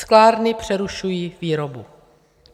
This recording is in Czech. Sklárny přerušují výrobu.